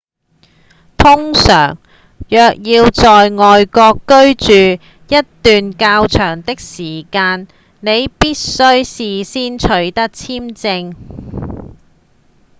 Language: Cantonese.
通常若要在外國居住一段較長的時間你必須事先取得簽證